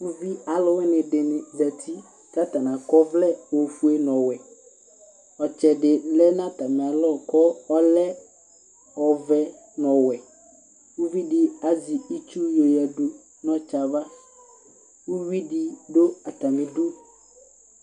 Uvi alʋ wɩnɩ dɩnɩ zǝtɩ, kʋ atanɩ akɔ ɔvlɛ ofue nʋ ɔwɛ Ɔtsɛ dɩ lɛ nʋ atamɩ alɔ kʋ ɔlɛ ɔvɛ nʋ ɔwɛ, kʋ uvi dɩ azɛ itsu nɩ yo yǝdʋ nʋ ɔtsɛ yɛ ava, kʋ uvi dɩ dʋ atamɩ ɩdʋ